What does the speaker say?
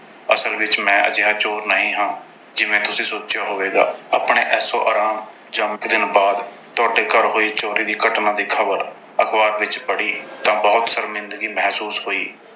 ਅਸਲ ਵਿੱਚ ਮੈਂ ਅਜਿਹਾ ਚੋਰ ਨਹੀਂ ਹਾਂ। ਜਿਵੇਂ ਤੁਸੀਂ ਸੋਚਿਆ ਹੋਵੇਗਾ। ਆਪਣੇ ਐਸ਼ੋ-ਆਰਾਮ ਜਾਂ। ਇੱਕ ਦਿਨ ਬਾਅਦ ਤੁਹਾਡੇ ਘਰ ਹੋਈ ਚੋਰੀ ਦੀ ਘਟਨਾ ਦੀ ਖਬਰ ਅਖਬਾਰ ਵਿੱਚ ਪੜ੍ਹੀ ਤਾਂ ਬਹੁਤ ਸ਼ਰਮਿੰਦਗੀ ਮਹਿਸੂਸ ਹੋਈ।